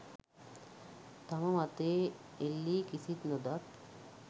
තම මතයේ එල්ලි කිසිත් නොදත්